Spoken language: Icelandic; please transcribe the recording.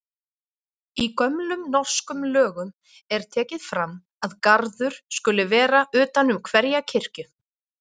Í gömlum norskum lögum er tekið fram að garður skuli vera utan um hverja kirkju.